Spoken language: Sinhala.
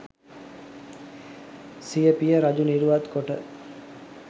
සිය පිය රජු නිරුවත් කොට